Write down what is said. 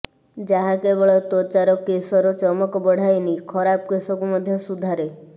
ଯାହା କେବଳ ତ୍ୱଚାର କେଶର ଚମକ ବଢ଼ାଏନି ଖରାପ କେଶକୁ ମଧ୍ୟ ସୁଧାରେ